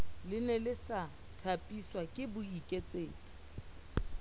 lene le sa thapiswake boikaketsi